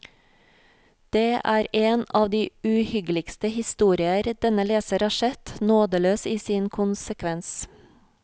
Det er en av de uhyggeligste historier denne leser har sett, nådeløs i sin konsekvens.